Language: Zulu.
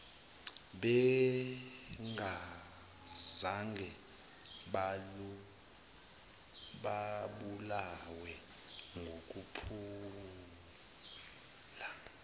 bengazange babulawe ngokuphula